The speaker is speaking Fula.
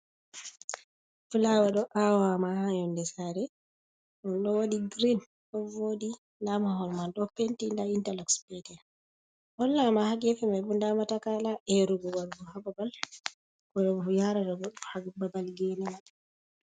Flawa ɗo awama ha yonde sare ɗo waɗi green ɗo voɗi nda mahol man ɗo penti nda interlux pat, hollama ha gefemai bo nda matakala erugo wargo ha babal ko yarata goɗɗo ha babal gene man.